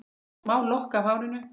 Smá lokk af hárinu.